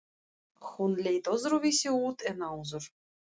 Hún leit öðruvísi út en áður.